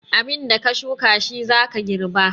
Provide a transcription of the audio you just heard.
Abinda ka shuka shi zaka girba.